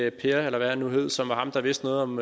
i per eller hvad han nu hed som var ham der vidste noget om